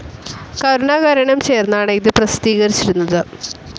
കരുണാകരനും ചേർന്നാണ് ഇത് പ്രസിദ്ധീകരിച്ചിരുന്നത്.